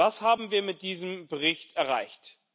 Was haben wir mit diesem Bericht erreicht?